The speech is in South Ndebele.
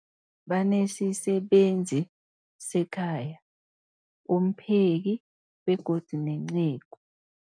Banesisebenzi sekhaya, umpheki, begodu nenceku.